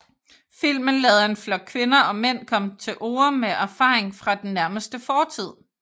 Filmen lader en flok kvinder og mænd komme til orde med erfaring fra den nærmeste fortid